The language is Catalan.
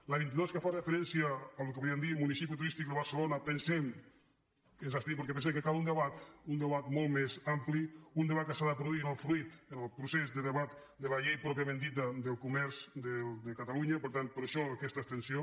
a la vint dos que fa referència al que en podríem dir municipi turístic de barcelona ens hi abstenim perquè pensem que cal un debat molt més ampli un debat que s’ha de produir en el procés de debat de la llei pròpiament dita del comerç de catalunya per tant per això aquesta abstenció